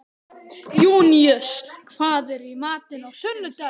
Júníus, hvað er í matinn á sunnudaginn?